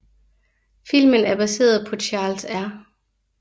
Filmen er baseret på Charles R